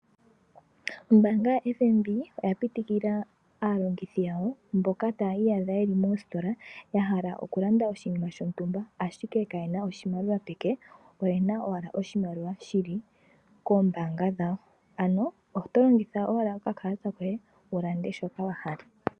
Ombaanga ya FNB oya pitikila aalongithi yawo mboka taya iyadha yeli mositola yahala okulanda iinima yawo ,ashike kayena oshimaliwa peke oyena owala oshimaliwa shili koombanga dhawo ano otolongitha owala okakalata koye wulande shoka wahala.